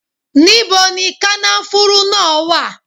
Níbo ni kànáfùrú náà wà?